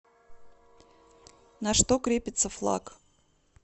на что крепится флаг